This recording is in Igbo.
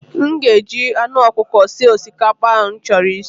M ga-eji anụ ọkụkọ sie osikapa ahụ m chọrọ isi.